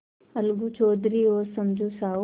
अलगू चौधरी और समझू साहु